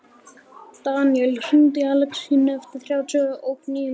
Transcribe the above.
Daníel, hringdu í Alexínu eftir þrjátíu og níu mínútur.